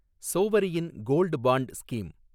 சோவரியின் gold bond scheme